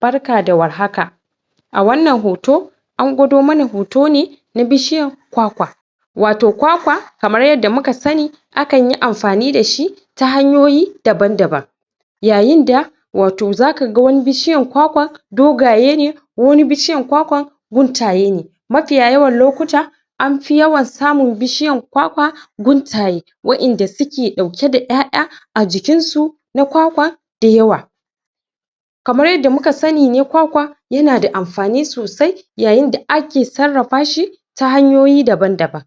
barka da warhaka a wannan hoto an gwodo mana hoto ne na bishiyan kwakwa wato kwakwa kamar yanda muka sani akanyi amfani dashi ta hanyoyi daban daban yayinda wato zakaga wani bishiyan kwakwa dogaye ne wani bishiyan kwakwan guntaye ne mafiya yawan lokuta anfi yawan samun bishiyan kwakwa guntaye waiyanda suke dauke da ƴaya ajikinsu na kwakwa dayawa kamar yanda muka sani ne kwakwa yanada amfani sosai yayinda ake sarrafa shi ta hanyoyi daban daban